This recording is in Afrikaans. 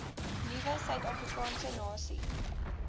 nuwe suidafrikaanse nasie